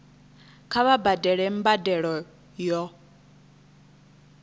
kha vha badele mbadelo yo